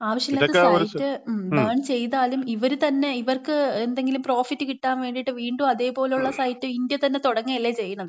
ആവശ്യല്ലാത്ത site, ban ചെയ്താലും ഇവര് തന്നെ ഇവർക്ക് എന്തെങ്കിലും പ്രോഫിറ്റ് കിട്ടാൻ വേണ്ടിട്ട് വീണ്ടും അതേപോലുള്ള സൈറ്റ് ഇന്ത്യ തന്നെ തുടങ്ങല്ലേ ചെയ്യുന്നത്.